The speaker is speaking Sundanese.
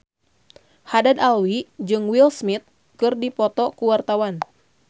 Haddad Alwi jeung Will Smith keur dipoto ku wartawan